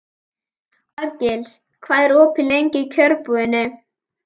Arngils, hvað er opið lengi í Kjörbúðinni?